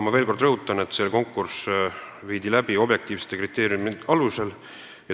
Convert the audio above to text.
Ma rõhutan aga veel kord: konkurss toimus objektiivsete kriteeriumide alusel.